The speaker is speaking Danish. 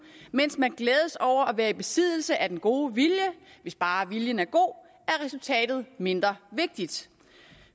mens man glædes over at være i besiddelse af den gode vilje hvis bare viljen er god er resultatet mindre vigtigt